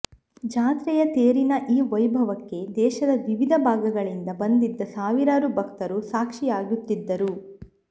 ಜಾತ್ರೆಯ ತೇರಿನ ಈ ವೈಭವಕ್ಕೆ ದೇಶದ ವಿವಿಧ ಭಾಗಗಳಿಂದ ಬಂದಿದ್ದ ಸಾವಿರಾರು ಭಕ್ತರು ಸಾಕ್ಷೀಯಾಗುತ್ತಿದ್ದರು